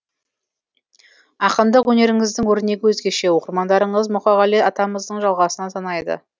ақындық өнеріңіздің өрнегі өзгеше оқырмандарыңыз мұқағали атамыздың жалғасына санайды